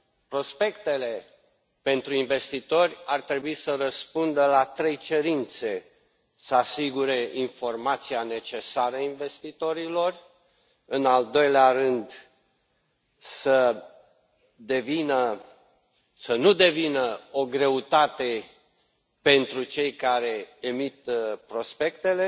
Prospectele pentru investitori ar trebui să răspundă la trei cerințe să asigure informația necesară investitorilor, în al doilea rând să nu devină o greutate pentru cei care emit prospectele